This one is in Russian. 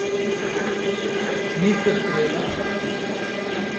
мистер кредо